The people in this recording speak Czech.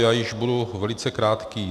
Já již budu velice krátký.